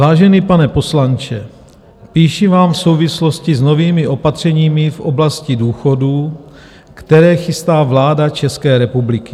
"Vážený pane poslanče, píši vám v souvislosti s novými opatřeními v oblasti důchodů, které chystá vláda České republiky.